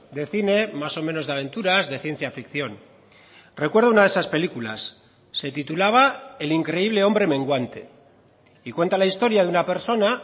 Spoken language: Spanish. de cine más o menos de aventuras de ciencia ficción recuerdo una de esas películas se titulaba el increíble hombre menguante y cuenta la historia de una persona